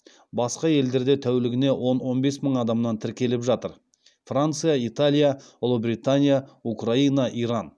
басқа елдерде тәулігіне он он бес мың адамнан тіркеліп жатыр